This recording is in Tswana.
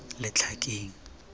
letlhakeng